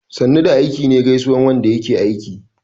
"sannu da aiki" me gaisuwan Wanda yake aiki